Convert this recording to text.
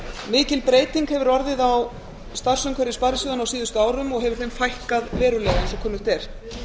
mikil breyting hefur orðið á starfsumhverfi sparisjóðanna á síðustu árum og hefur þeim fækkað verulega eins og kunnugt er